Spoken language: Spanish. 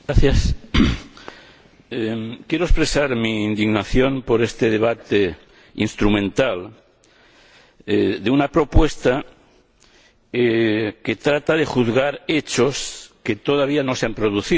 Señor Presidente, quiero expresar mi indignación por este debate instrumental de una propuesta que trata de juzgar hechos que todavía no se han producido